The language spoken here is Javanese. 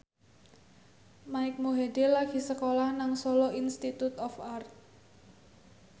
Mike Mohede lagi sekolah nang Solo Institute of Art